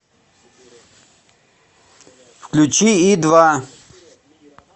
включи и два